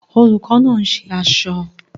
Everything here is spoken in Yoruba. Olùkọ́ náà ń ṣe aṣọ